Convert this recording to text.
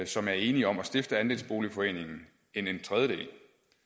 som er enige om at stifte andelsboligforeningen end en tredjedel